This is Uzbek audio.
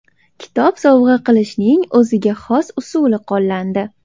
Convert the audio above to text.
Kitob sovg‘a qilishning o‘ziga xos usuli qo‘llandi.